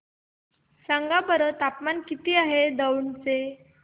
सांगा बरं तापमान किती आहे दौंड चे